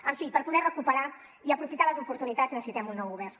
en fi per poder recuperar i aprofitar les oportunitats necessitem un nou govern